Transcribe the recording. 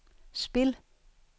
spil